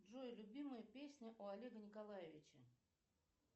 джой любимая песня у олега николаевича